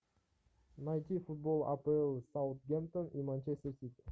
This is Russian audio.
найти футбол апл саутгемптон и манчестер сити